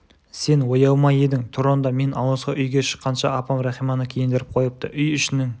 сен ояу ма едің тұр онда мен ауызғы үйге шыққанша апам рахиманы киіндіріп қойыпты үй ішінің